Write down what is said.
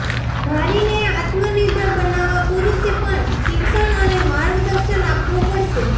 નારીને આત્મનિર્ભર બનાવવા પુરુષે પણ શિક્ષણ અને માર્ગદર્શન આપવું પડશે